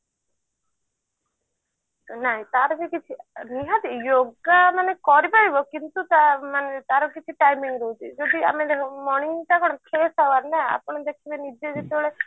ନାଇଁ ତାର ବି କିଛି ନିହାତି yoga ମାନେ କରିପାରିବ କିନ୍ତୁ ତା ମାନେ ତାର କିଛି timing ରହୁଛି ଯଦି ଆମେ ଦେଖ morning ଟା କଣ fresh hours ନା ଆପଣ ଦେଖିବେ ନିଜେ ଯେତେବେଳେ